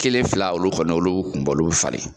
Kelen fila olu kɔnɔ olu kun bɔ olu be falen.